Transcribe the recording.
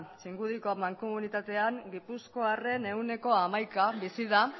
txingudiko mankomunitatean gipuzkoarren ehuneko hamaika bizi da